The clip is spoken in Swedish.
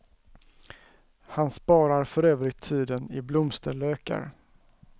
Han sparar för övrigt tiden i blomsterlökar.